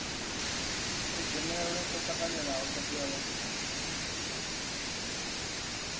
kudzhenele kwo tanganelaho thodea ya